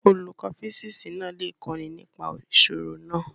Olùkọ́ físíìsì náà lè kọ́ni nípa ìṣirò náà.